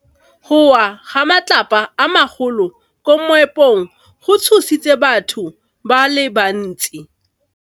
Go wa ga matlapa a magolo ko moepong go tshositse batho ba le bantsi.